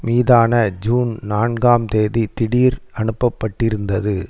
மீதான ஜூன் நான்காம் தேதி திடீர் அனுப்ப பட்டிருந்தது